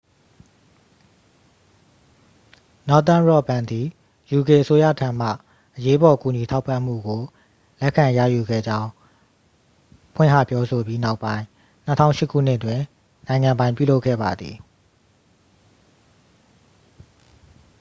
northern rock ဘဏ်သည် uk အစိုးရထံမှ အရေးပေါ် ကူညီထောက်ပံ့မှုကို လက်ခံရယူခဲ့ကြောင့် ဖွင့်ဟပြောဆိုပြီးနောက်ပိုင်း 2008 ခုနှစ်တွင် နိုင်ငံပိုင်ပြုလုပ်ခဲ့ပါသည်